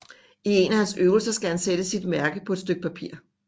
I en af hans øvelser skal han sætte sit mærke på et stykke papir